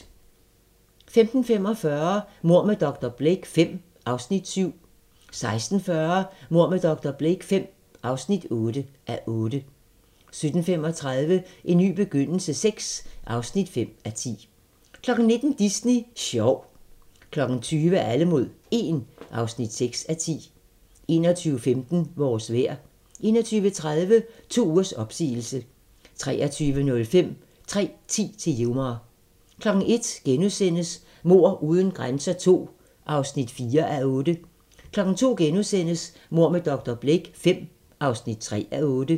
15:45: Mord med dr. Blake V (7:8) 16:40: Mord med dr. Blake V (8:8) 17:35: En ny begyndelse VI (5:10) 19:00: Disney sjov 20:00: Alle mod 1 (6:10) 21:15: Vores vejr 21:30: To ugers opsigelse 23:05: 3:10 til Yuma 01:00: Mord uden grænser II (4:8)* 02:00: Mord med dr. Blake V (3:8)*